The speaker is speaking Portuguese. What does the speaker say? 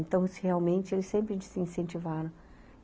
Então, se realmente, eles sempre nos incentivaram.